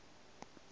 wo kwena e le go